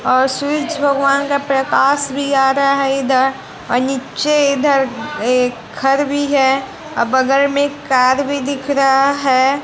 और सुरज भगवान का प्रकाश भी आ रहा है इधर नीचे इधर एक घर भी है अ बगल में कार भी दिख रहा है।